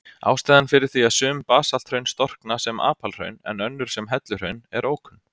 Ástæðan fyrir því að sum basalthraun storkna sem apalhraun en önnur sem helluhraun er ókunn.